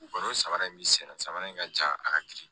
N'o samara in bɛ senna samara in ka ca a ka girin